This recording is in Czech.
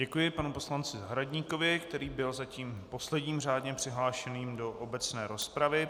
Děkuji panu poslanci Zahradníkovi, který byl zatím posledním řádně přihlášeným do obecné rozpravy.